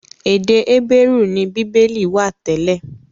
Èdè Hébérù ni Bíbélì wà tẹ́lẹ̀.